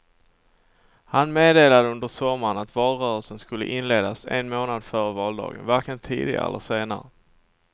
Han meddelade under sommaren att valrörelsen skulle inledas en månad före valdagen, varken tidigare eller senare.